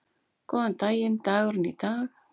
Góðan daginn dagurinn í dag